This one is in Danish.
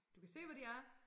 Du kan se hvor de er